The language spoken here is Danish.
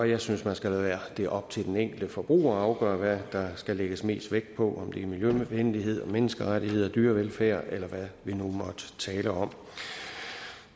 jeg synes man skal lade det være op til den enkelte forbruger at afgøre hvad der skal lægges mest vægt på det er miljøvenlighed menneskerettigheder dyrevelfærd eller hvad vi nu måtte tale om